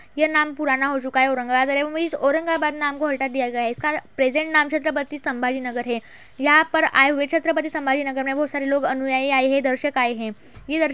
ये नाम पुराना हो चुका है। औरंगाबाद इस औरंगाबाद नाम को हटा दिया गया हैं। इसका प्रेजेंट नाम छत्रपति संभा जी नगर हैं यहाँ पर आये हुए छत्रपति संभा जी नगर में बहुत सारे लोग अनुयायी आये हैं दर्शक आये हैं। ये लड़ --